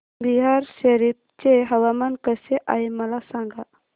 बिहार शरीफ चे हवामान कसे आहे मला सांगा